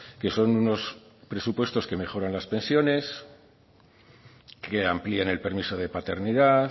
que son unos presupuestos que mejoran las pensiones que amplían el permiso de paternidad